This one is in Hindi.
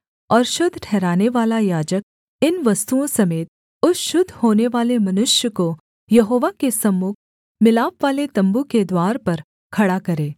और शुद्ध ठहरानेवाला याजक इन वस्तुओं समेत उस शुद्ध होनेवाले मनुष्य को यहोवा के सम्मुख मिलापवाले तम्बू के द्वार पर खड़ा करे